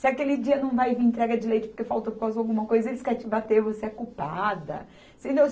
Se aquele dia não vai vir entrega de leite porque faltou alguma coisa e eles querem te bater, você é culpada. Você entendeu